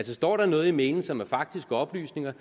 står noget i mailen som er faktiske oplysninger